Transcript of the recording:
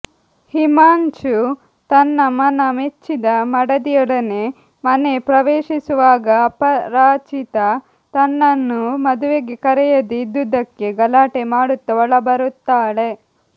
ಹಿಮಾಂಶು ತನ್ನ ಮನ ಮೆಚ್ಚಿದ ಮಡದಿಯೊಡನೆ ಮನೆ ಪ್ರವೇಶಿಸುವಾಗ ಅಪರಾಜಿತಾ ತನ್ನನ್ನು ಮದುವೆಗೆ ಕರೆಯದೆ ಇದ್ದುದ್ದಕ್ಕೆ ಗಲಾಟೆ ಮಾಡುತ್ತ ಒಳಬರುತ್ತಾಳೆ